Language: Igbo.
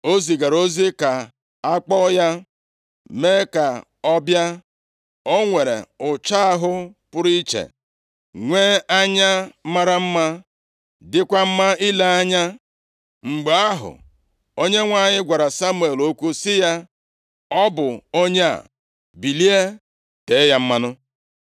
Ọ zigara ozi ka akpọọ ya, mee ka ọ bịa. O nwere ụcha ahụ pụrụ iche, nwee anya mara mma, dịkwa mma ile anya. Mgbe ahụ, Onyenwe anyị gwara Samuel okwu sị ya, “Ọ bụ onye a, bilie tee ya mmanụ.”